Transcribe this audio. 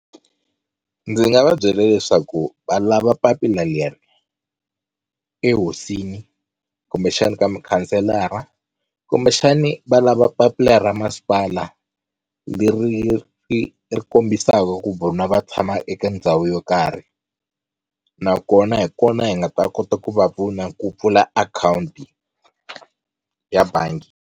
Ndzi nga va byela leswaku va lava papila leri ehosini kumbexani ka mukhanselara kumbexani va lava papila ra masipala leri ri ri kombisaka ku vona va tshama eka ndhawu yo karhi nakona hi kona hi nga ta kota ku va pfuna ku pfula akhawunti ya bangi.